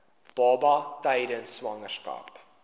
baba tydens swangerskap